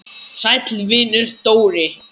Sæll vinur, Dóri!